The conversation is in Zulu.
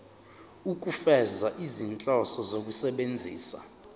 ukufeza izinhloso zokusebenzisa